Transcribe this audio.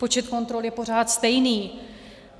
Počet kontrol je pořád stejný.